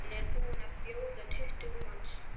Hún er búin að bjóða tuttugu manns.